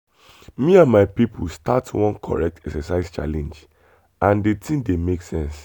me and my people start one correct exercise challenge and the thing dey make sense.